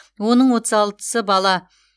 оның отыз алтысы бала